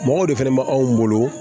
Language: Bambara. Mɔgɔw de fɛnɛ bɛ anw bolo